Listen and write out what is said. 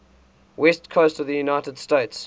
west coast of the united states